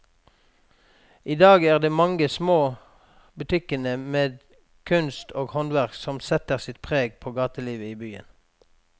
I dag er det de mange små butikkene med kunst og håndverk som setter sitt preg på gatelivet i byen.